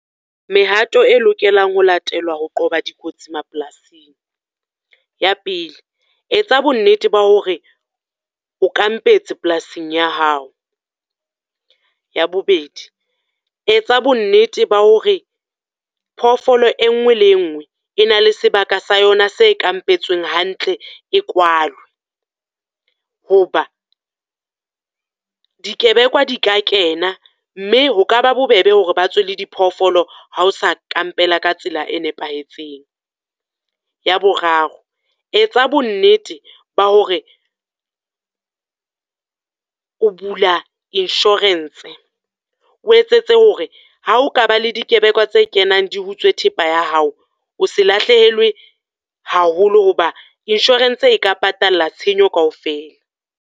Mehato e lokelang ho latelwa ho qoba dikotsi mapolasing. Ya pele, etsa bonnete ba hore o kampetse polasing ya hao. Ya bobedi, etsa bonnete ba hore phoofolo e nngwe le e nngwe, e na le sebaka sa yona se kampetsweng hantle, e kwalwe. Ho ba di kebekwa di ka kena, mme ho ka ba bobebe hore ba tswe le di phoofolo ha o sa kampela ka tsela e nepahetseng. Ya boraro, etsa bonnete ba hore o bula insurance, o etsetse hore ha o ka ba le dikebekwa tse kenang di utswe thepa ya hao. O se lahlehelwe haholo ho ba insurance e ka patalla tshenyo kaofela.